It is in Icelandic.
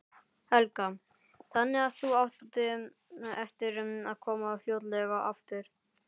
Helga: Þannig að þú átt eftir að koma fljótlega aftur?